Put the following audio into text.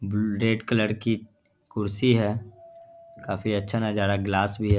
Bull red colour की कुर्सी है| काफी अच्छा नजारा ग्लास भी है।